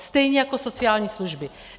Stejně jako sociální služby.